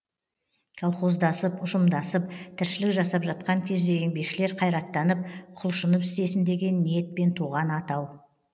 колхоздасып ұжымдасып тіршілік жасап жатқан кезде еңбекшілер қайраттанып құлшынып істесін деген ниетпен туған атау